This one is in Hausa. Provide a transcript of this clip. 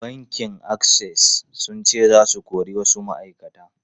Bankin Access sun ce za su kori wasu ma’aikata.